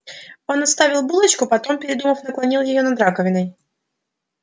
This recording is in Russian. он отставил булочку потом передумав наклонил её над раковиной